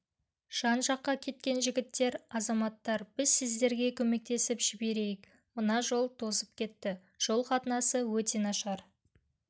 жан-жаққа кеткен жігіттер азаматтар біз сіздерге көмектесіп жіберейік мына жол тозып кетті жол қатынасы өте нашар